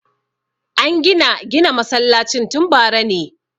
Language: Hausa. An gina gina masallacin tun bara ne